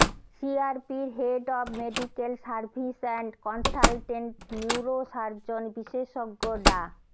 সিআরপির head of medical service and consultant neurosurgeon বিশেষজ্ঞ ডা